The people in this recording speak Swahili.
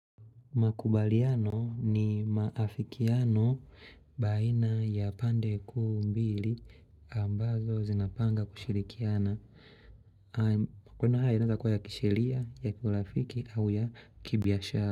Makubaliano ni maafikiano baina ya pande kuu mbili ambazo zinapanga kushirikiana. Kuna hayo inaeza kuwa ya kisheria, ya kirafiki au ya kibiashara.